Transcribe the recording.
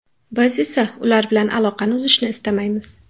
Biz esa ular bilan aloqani uzishni istamaymiz.